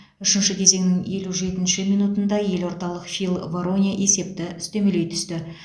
үшінші кезеңнің елу жетінші минутында елордалық фил вароне есепті үстемелей түсті